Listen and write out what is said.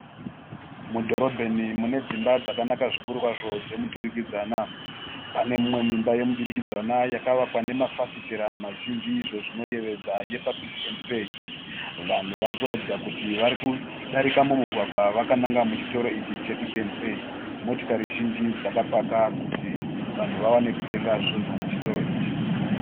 Mudhorobheni mune dzimba dzakanaka zvikuru kwazvo dzemuturikidzanwa. Pane imwe imba yemudurikidzanwa yakavakwa nemafafitera mazhinji izvo zvinoyevedza yepaPick and Pay. Vanhu vari kuratidza kuti vari kudarika mumugwagwa vakananga kuchitoro ichi chePick andPay. Motokari zhinji dzakapaka kuti vanhu vaone kutenga zvinhu muchitoro ichi.